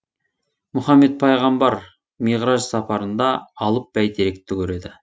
мұхаммед пайғамбар миғраж сапарында алып бәйтеректі көреді